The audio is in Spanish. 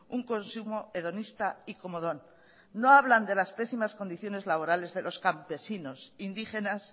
un consumo hedonista y comodón no hablan de las pésimas condiciones laborales de los campesinos indígenas